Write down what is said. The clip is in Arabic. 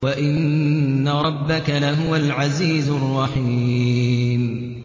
وَإِنَّ رَبَّكَ لَهُوَ الْعَزِيزُ الرَّحِيمُ